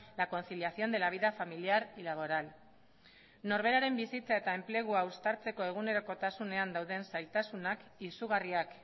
la conciliación de la vida familiar y laboral norberaren bizitza eta enplegua uztartzeko egunerokotasunean dauden zailtasunak izugarriak